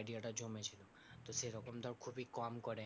idea টা জমেছিল। তো সেরকম ধর খুবই কম করে।